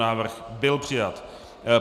Návrh byl přijat.